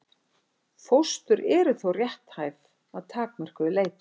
Fóstur eru þó rétthæf að takmörkuðu leyti.